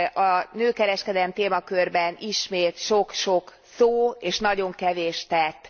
A nőkereskedelem témakörben ismét sok sok szó és nagyon kevés tett.